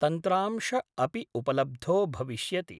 तन्त्रांश अपि उपलब्धो भविष्यति।